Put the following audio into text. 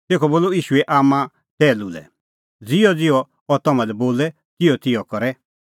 तेखअ बोलअ ईशूए आम्मां टैहलू लै ज़िहअज़िहअ अह तम्हां लै बोले तिहअतिहअ करै